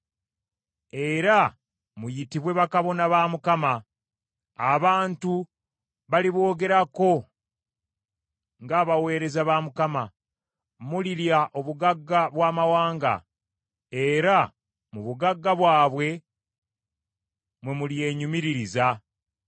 Era muyitibwe bakabona ba Mukama , abantu baliboogerako ng’abaweereza ba Mukama , mulirya obugagga bw’amawanga, era mu bugagga bwabwe mwe mulyenyumiririza.